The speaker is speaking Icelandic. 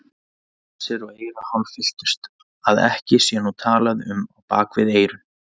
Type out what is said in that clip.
Nasir og eyru hálffylltust, að ekki sé nú talað um á bak við eyrun.